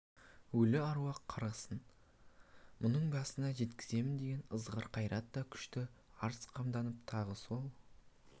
өлі аруақ қарғысын мұның басына жеткіземіз деген ызғар қайрат та күшті арыз қамдатып тағы сол